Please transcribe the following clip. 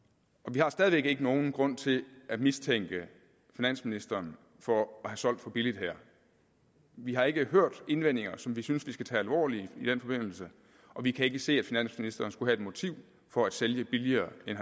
vi har stadig væk ikke nogen grund til at mistænke finansministeren for at have solgt for billigt her vi har ikke hørt indvendinger som vi synes vi skal tage alvorligt i den forbindelse og vi kan ikke se at finansministeren skulle have et motiv for at sælge billigere end